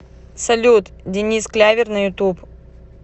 салют денис клявер на ютуб